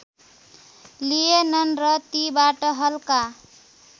लिएनन् र तिबाट हल्का